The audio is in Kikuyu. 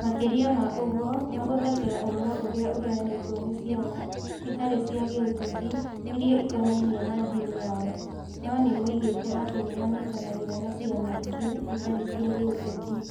Makĩria ma ũguo, mahũthagĩra ũhoro ũrĩa ũheanĩtwo nĩ ciama itarĩ cia gĩũteti iria ikonainie na ndini yao, no nĩ moigĩte atĩ nĩ manyitanagĩra na ciama ingĩ itarĩ cia gĩũteti.